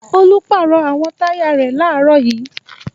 Olú pàrọ̀ àwọn táyà rẹ̀ láàárọ̀ yìí.